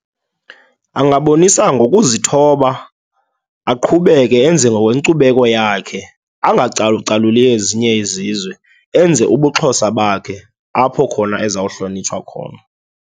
Angabonisa ngokuzithoba, aqhubeke enze ngokokwenkcubeko yakhe, angacalucaluli ezinye izizwe. Enze ubuXhosa bakhe apho khona ezawuhlonitshwa khona.